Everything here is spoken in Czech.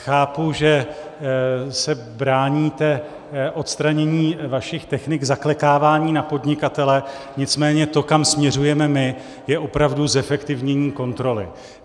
Chápu, že se bráníte odstranění vašich technik zaklekávání na podnikatele, nicméně to, kam směřujeme my, je opravdu zefektivnění kontroly.